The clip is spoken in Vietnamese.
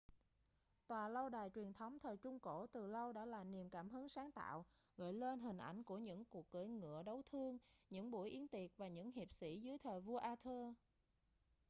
tòa lâu đài truyền thống thời trung cổ từ lâu đã là niềm cảm hứng sáng tạo gợi lên hình ảnh của những cuộc cưỡi ngựa đấu thương những buổi yến tiệc và những hiệp sĩ dưới thời vua arthur